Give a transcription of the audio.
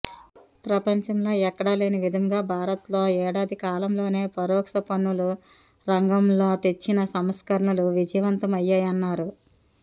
ప్రపంచంలో ఎక్కడా లేనివిధంగా భారత్లో ఏడాది కాలంలోనే పరోక్షపన్నులరంగంలో తెచ్చిన సంస్కరణలు విజయవంతం అయ్యాయన్నారు